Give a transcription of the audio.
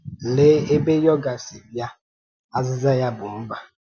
Lee ebe yoga si bịa, azịza ya bụ mba.